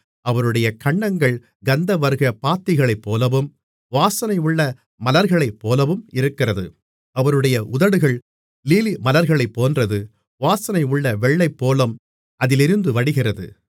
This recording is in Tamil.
அவருடைய கன்னங்கள் கந்தவர்க்கப் பாத்திகளைப்போலவும் வாசனையுள்ள மலர்களைப்போலவும் இருக்கிறது அவருடைய உதடுகள் லீலிமலர்களைப் போன்றது வாசனையுள்ள வெள்ளைப்போளம் அதிலிருந்து வடிகிறது